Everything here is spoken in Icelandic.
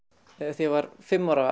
þegar ég var fimm ára